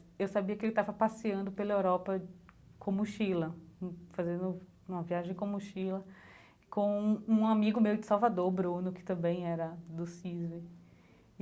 Eu sabia que ele estava passeando pela Europa com mochila, fazendo uma viagem com mochila, com um amigo meu de Salvador, o Bruno, que também era do CISV.